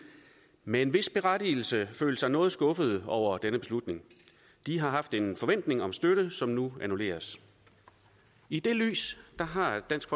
med en vis berettigelse følt sig noget skuffede over denne beslutning de har haft en forventning om støtte som nu annulleres i det lys har dansk